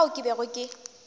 ka fao ke bego ke